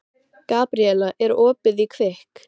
Gabríella, er opið í Kvikk?